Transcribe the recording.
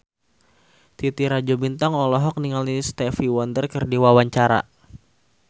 Titi Rajo Bintang olohok ningali Stevie Wonder keur diwawancara